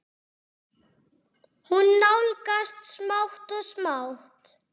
Hún nálgast smátt og smátt.